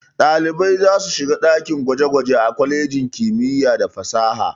Ɗalibai za su shiga dakin gwaje-gwaje a kwalejin kimiyya da fasaha.